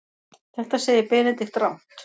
Þetta segir Benedikt rangt.